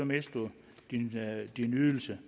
mister du din ydelse